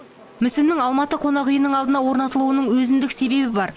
мүсіннің алматы қонақүйінің алдына орнатылуының өзіндік себебі бар